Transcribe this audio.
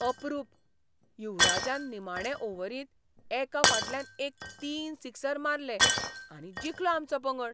अपरूप! युवराजान निमाणे ओव्हरींत एका फाटल्यान एक तीन सिक्सर मारले आनी जिखलो आमचो पंगड.